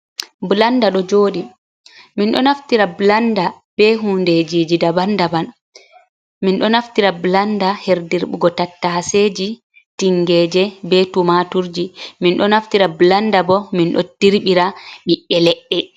Blanda ɗo joɗi min ɗo naftira blanda be hundeji jida bandaban min ɗo naftira blanda herdirbugo tattase ji, tingeje, be tumaturje, min ɗo naftira blanda bo min ɗo dirbira ɓiɓi’e leɗɗe.